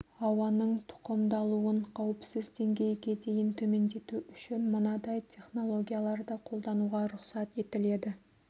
ауаның тұқымдалуын қауіпсіз деңгейге дейін төмендету үшін мынадай технологияларды қолдануға рұқсат етіледі